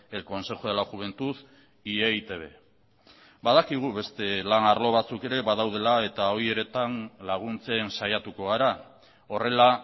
el consejo de la juventud y e i te be badakigu beste lan arlo batzuk ere badaudela eta horietan laguntzen saiatuko gara horrela